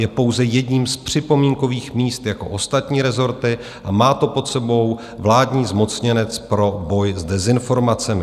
Je pouze jedním z připomínkových míst jako ostatní rezorty a má to pod sebou vládní zmocněnec pro boj s dezinformacemi.